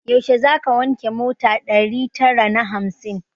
Yaushe zaka wanke mota ɗari tara na hamsin?